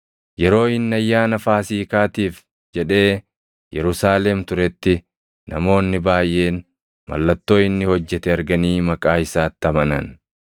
Yeroo inni Ayyaana Faasiikaatiif jedhee Yerusaalem turetti namoonni baayʼeen mallattoo inni hojjete arganii maqaa isaatti amanan.